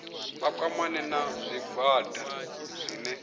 vha kwamane na zwigwada zwine